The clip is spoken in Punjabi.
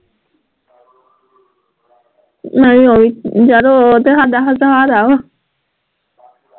ਨਹੀਂ ਓਏ ਯਾਰ ਓਹ ਤੇ ਸਾਡਾ ਸਹਾਰਾ ਵਾ